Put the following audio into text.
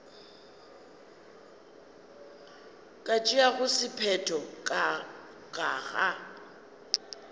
ka tšeago sephetho ka ga